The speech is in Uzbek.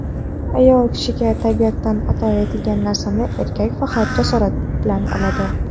Ayol kishiga tabiatan ato etilgan narsani erkak faqat jasorat bilan oladi.